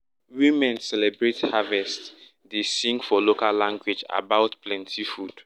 women celebrate harvest dey sing for local language about plenty food.